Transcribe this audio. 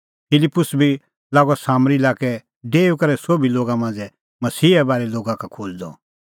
फिलिप्पुस बी लागअ सामरी लाक्कै डेऊई करै सोभी लोगा मांझ़ै मसीहे बारै लोगा का खोज़दअ